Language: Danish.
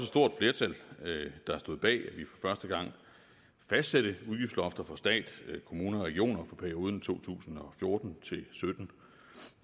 stort flertal der stod bag at vi for første gang fastsatte udgiftslofter for stat kommuner og regioner for perioden to tusind og fjorten til sytten